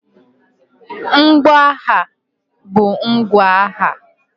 Mgbo agha bụ ngwa agha.